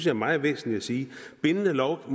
er meget væsentligt at sige bindende lov